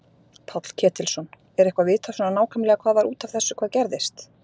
Páll Ketilsson: Er eitthvað vitað svona nákvæmlega hvað var út af þessu hvað gerðist?